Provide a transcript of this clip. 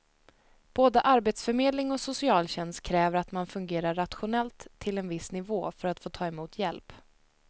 Både arbetsförmedling och socialtjänst kräver att man fungerar rationellt till en viss nivå för att få ta emot hjälp.